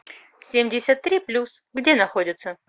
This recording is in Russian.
семьдесят три плюс где находится